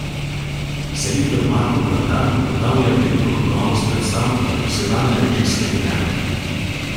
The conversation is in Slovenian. Selektor Marko Plantan ugotavlja veliko kakovost predstav in profesionalne režijske prijeme.